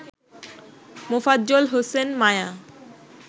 Mofazzal Hossain Maya